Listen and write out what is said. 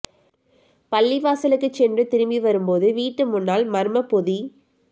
பள்ளிவாசலுக்கு சென்று திரும்பி வரும் போது வீட்டு முன்னால் மர்மப் பொதி